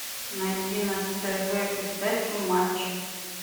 найди на тв передачу матч